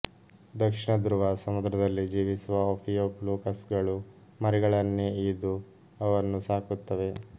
ದಕ್ಷಿಣ ಧ್ರುವ ಸಮುದ್ರದಲ್ಲಿ ಜೀವಿಸುವ ಓಫಿಯೋಫ್ಲೂಕಸ್ಗಳು ಮರಿಗಳನ್ನೇ ಈದು ಅವನ್ನು ಸಾಕುತ್ತವೆ